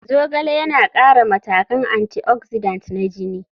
Zogale yana ƙara matakan antioxidant na jini.